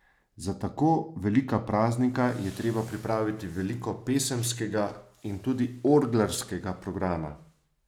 Za tako velika praznika je treba pripraviti veliko pesemskega in tudi orglarskega programa.